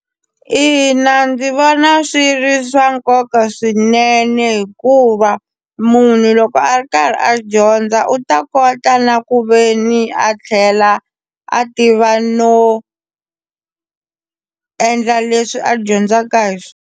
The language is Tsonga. Ina, ndzi vona swi ri swa nkoka swinene hikuva munhu loko a ri karhi a dyondza u ta kota na ku ve ni a tlhela a tiva no endla leswi a dyondzaka hi .